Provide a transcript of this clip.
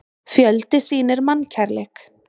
Fjöldi sýnir mannkærleik